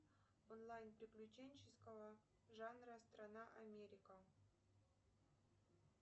онлайн приключенческого жанра страна америка